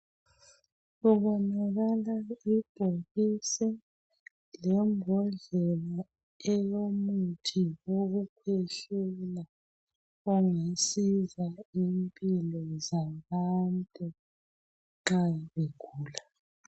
Kubonanakala ibhokisi lembhodlela elomuthi wokukhwehlela ongasiza impilo zabantu nxa begula